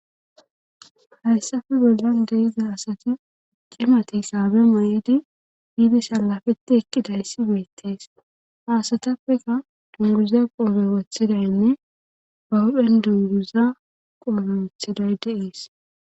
hayssafe bollan deyiza asati cimati saabe ma7edi biidi salafeti ekkidayssi beettees haasatappeka dunguza qoobe wothidaynne ba wudhen dunguza qoobe wothiday deees